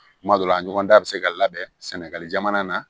Kuma dɔ la a ɲɔgɔnda bɛ se ka labɛn sɛnɛgali jamana na